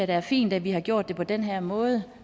det er fint at vi har gjort det på den her måde